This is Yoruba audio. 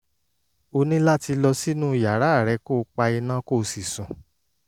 ó ní láti lọ sínú yàrá rẹ̀ kó pa iná kó sì sùn